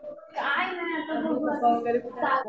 काही नाही. आता बघू आता